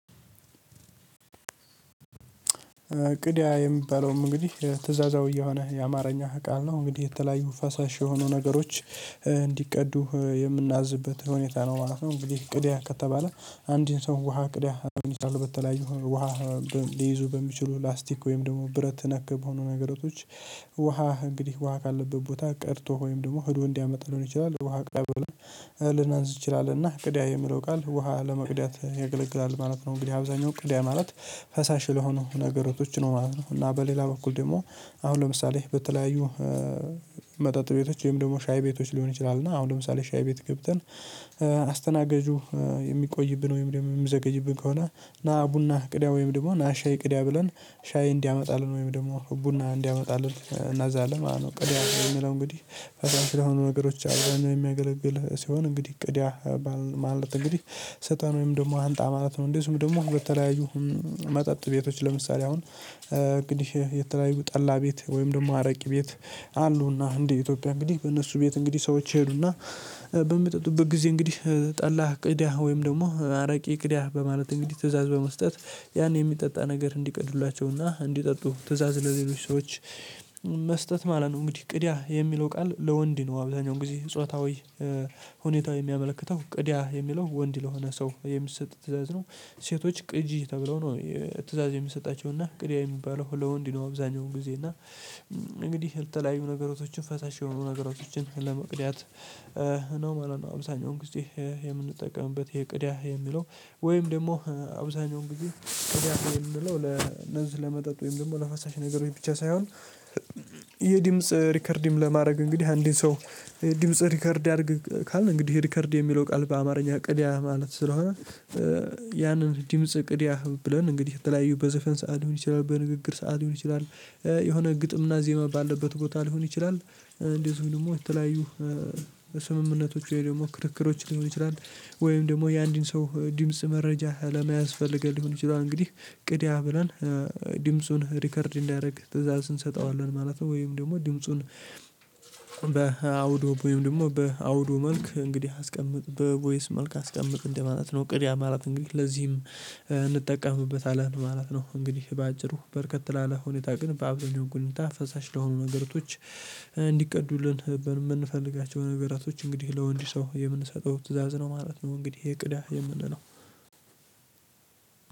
ቅዳ የሚባለውም እንግዲህ ትእዛዛዊ የሆነ የአማርኛ ቃል ነው። እንግዲህ የተለያዩ ፈሳሽ የሆኑ ነገሮች እንዲቀዱ የምናዝበት ሁኔታ ነው ማለት ነው። እንግዲህ ቅዳ ከተባለ አንድን ሰው ውሃ ቅዳ በተለያዩ ውሃ ሊይዙ በሚችሉ ላስቲክ ወይም ደግሞ ብረት ነክ በሆኑ ነገራቶች ውሃ እንግዲህ ውሃ ካለበት ቦታ ቀድቶ ወይም ደግሞ ሄዶ እንዲያመጣ ሊሆን ይችላል ውሃ ቅዳ ብለን ልናዝ እንችላለን እና ቅዳ የሚለው ቃል ውሃ ለመቅዳት ያገለግላል ማለት ነው። እንግዲህ አብዛኛው ቅዳ ማለት ፈሳሽ ለሆኑ ነገራቶች ነው ማለት ነው፤ እና በሌላ በኩል ደግሞ አሁን ለምሳሌ በተለያዩ መጠጥ ቤቶች ወይም ደግሞ ሻይ ቤቶች ሊሆን ይችላል እና አሁን ለምሳሌ ሻይ ቤት ገብተን አስተናጋጁ የሚቆይብን ወይም ደግሞ የሚዘገይብን ከሆነ ና ቡና ቅዳ ወይም ደግሞ ና ሻይ ቅዳ ብለን ሻይ እንዲያመጣልን ወይም ደግሞ ቡና እንዲያመጣልን እናዛለን ማለት ነው። ቅዳ የምንለው እንግዲህ ፈሳሽ ለሆኑ ነገሮች አብዛኛው የሚያገለግል ሲሆን እንግዲህ ቅዳ ባልን ማለት እንግዲህ ስጠን ወይም ደግሞ አምጣ ማለት ነው። እንደዚሁም ደግሞ በተለያዩ መጠጥ ቤቶች ለምሳሌ አሁን እንግዲህ የተለያዩ ጠላ ቤት ወይም ደግሞ አረቂ ቤት አሉና እንደ ኢትዮጵያ እንግዲህ በእነሱ ቤት እንግዲህ ሰዎች ይሄዱና በሚጠጡበት ጊዜ እንግዲህ ጠላህ ቅዳህ ወይም ደግሞ አረቂ ቅዳ በማለት እንግዲህ ትእዛዝ በመስጠት ያን የሚጠጣ ነገር እንዲቀዱሏቸውና እንዲጠጡ ትእዛዝ ለሌሎች ሰዎች መስጠት ማለት ነው። እንግዲህ ቅዳ የሚለው ቃል ለወንድ ነው አብዛኛው ጊዜ ጾታዊ ሁኔታው የሚያመለክተው ቅዳ የሚለው ወንድ ለሆነ ሰው የሚሰጥ ትእዛዝ ነው። ሴቶች ቅጂ ተብለው ነው ትእዛዝ የሚሰጣቸው እና ቅዳ የሚባለው ለወንድ ነው አብዛኛውን ጊዜ እና እንግዲህ ለተለያዩ ነገራቶችን ፈሳሽ የሆኑ ነገራቶችን ለመቅዳት ነው ማለት ነው አብዛሃኛውን ጊዜ የምንጠቀምበት ይሄ ቅዳ የሚለው ወይም ደግሞ አብዛሃኛውን ግዜ ቅዳ የምንለው ለነዚህ ለመጠጥ ወይም ደግሞ ለፈሳሽ ነገሮች ብቻ ሳይሆን የድምጽ ሪከርድም ለማድረግ እንግዲህ አንድን ሰው ድምጽ ሪከርድ አድርግ ካልን እንግዲህ ሪከርድ የሚለው ቃል በአማርኛ ቅዳ ማለት ስለሆነ ያንን ድምጽ ቅድያ ብለን እንግዲህ የተለያዩ በዘፈን ሰዓት ሊሆን ይችላል በንግግር ሰዓት ሊሆን ይችላል የሆነ ግጥምና ዜማ ዜማ ባለበት ቦታ ሊሆን ይችላል። እንደዚሁ ደግሞ የተለያዩ ስምምነቶች ወይ ደግሞ ክርክሮች ሊሆን ይችላል፤ ወይም ደግሞ የአንድን ሰው ድምጽ መረጃ ለመያዝ ፈልገን ሊሆን ይችላል እንግዲህ ቅዳ ብለን ድምፁን ሪከርድ እንዲያደርግ ትእዛዝ እንሰጠዋለን ማለት ነው። ወይም ደግሞ ድምፁን በአውዱ ወይም ደግሞ በአውዶ መልክ እንግዲህ አስቀምጥ በቮይስ መልክ አስቀምጥ እንደማለት ነው ቅዳ ማለት እንግዲህ ለዚህም እንጠቀምበታለን ማለት ነው። እንግዲህ በአጭሩ በርከት ላለ ሁኔታ ግን በአብዛኛው ጉኝታ ፈሳሽ ለሆኑ ነገሮች እንዲቀዱልን በምንፈልጋቸው ነገራቶች እንግዲህ ለወንድ ሰው የምንሰጠው ትእዛዝ ነው ማለት ነው እንግዲህ ቅዳ የምንለው።